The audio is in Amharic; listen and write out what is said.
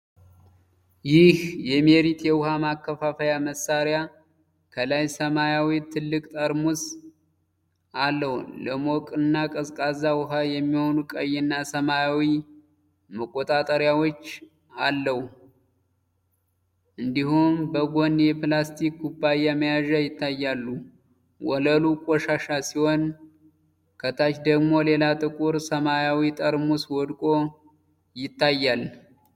ይህ የሜሪት የውሃ ማከፋፈያ መሳሪያ ከላይ ሰማያዊ ትልቅ ጠርሙስ አለው። ለሞቅና ቀዝቃዛ ውሃ የሚሆኑ ቀይና ሰማያዊ መቆጣጠሪያዎች እንዲሁም በጎን የፕላስቲክ ኩባያ መያዣ ይታያሉ። ወለሉ ቆሻሻ ሲሆን፣ ከታች ደግሞ ሌላ ጥቁር ሰማያዊ ጠርሙስ ወድቆ ይታያል።